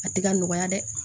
A tɛ ka nɔgɔya dɛ